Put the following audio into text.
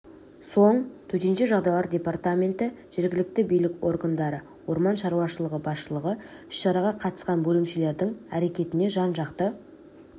соң төтенше жағдайлар департаменті жергілікті билік органдары орман шаруашылығы басшылығы іс-шараға қатысқан бөлімшелердің әрекетіне жан-жақты